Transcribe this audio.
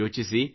ಯೋಚಿಸಿ